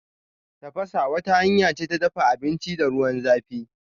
Tafasa wata hanya ce ta dafa abinci da ruwan zãfi.